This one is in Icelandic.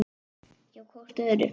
Hjá hvort öðru.